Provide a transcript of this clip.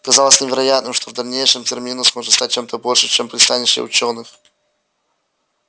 казалось невероятным что в дальнейшем терминус может стать чем-то большим чем пристанище учёных